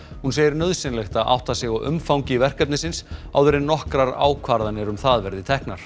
hún segir nauðsynlegt að átta sig á umfangi verkefnisins áður en nokkrar ákvarðanir um það verði teknar